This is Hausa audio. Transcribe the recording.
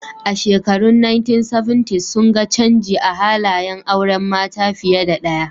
A shekarun 1970s sun ga canji a halayen auren mata fiye da ɗaya